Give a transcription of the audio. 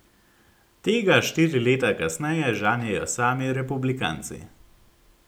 Tega štiri leta kasneje žanjejo sami republikanci.